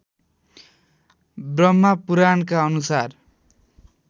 ब्रह्मपुराणका अनुसार